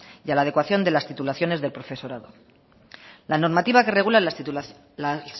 y a la adecuación de las titulaciones del profesorado la normativa que regula las